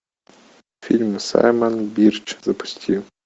фильм саймон бирч запусти